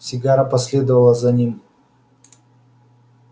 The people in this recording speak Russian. сигара последовала за ним